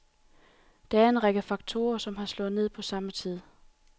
Det er en række faktorer, som har slået ned på samme tid.